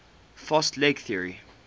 fast leg theory